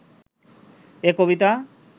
এ কবিতা